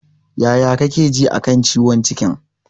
Yaya kake ji a kan ciwon cikin?